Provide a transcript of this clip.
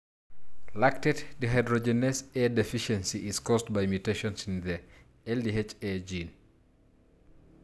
Lactate dehydrogenase A deficiency is caused by mutations in the LDHA gene.